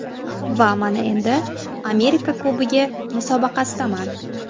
Va mana endi Amerika Kubogi musobaqasidaman.